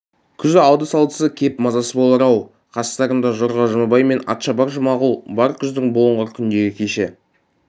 күз алды-салдысы кеп мазасыз болар-ау қастарында жорға жұмабай мен атшабар жұмағұл бар күздің бұлыңғыр күндегі кеші